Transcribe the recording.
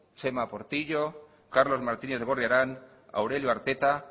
txema portillo carlos martínez gorriarán aurelio arteta